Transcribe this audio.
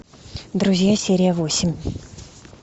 друзья серия восемь